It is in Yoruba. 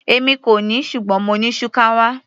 Èmi kò ní ṣùgbọ́n mo ní shukawa.